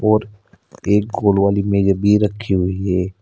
और एक गोल वाली मेज भी रखी हुई है।